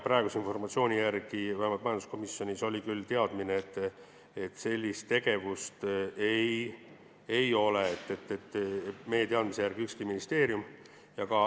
Praeguse informatsiooni järgi oli vähemalt majanduskomisjonis küll teadmine, et sellist tegevust ei ole üheski ministeeriumis.